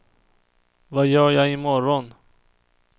vad gör jag imorgon